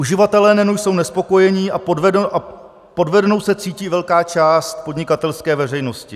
Uživatelé NEN jsou nespokojení a podvedenou se cítí velká část podnikatelské veřejnosti.